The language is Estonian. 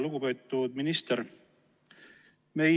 Lugupeetud minister!